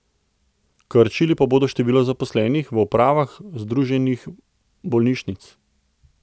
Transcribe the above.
Krčili pa bodo število zaposlenih v upravah združenih bolnišnic.